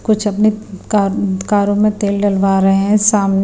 कुछ अपने कार कारों में तेल डलवा रहे हैं सामने--